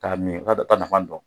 K'a min o t'a o t'a nafan dɔn.